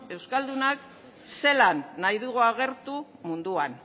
euskaldunak zelan nahi dugun agertu munduan